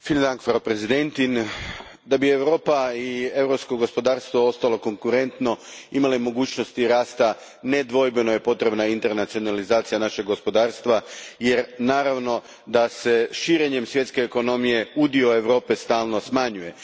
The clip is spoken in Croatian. Gospođo predsjednice, da bi Europa i europsko gospodarstvo ostali konkurentni i imali mogućnosti rasta nedvojbeno je potrebna internacionalizacija našeg gospodarstva jer naravno da se širenjem svjetske ekonomije udio Europe stalno smanjuje.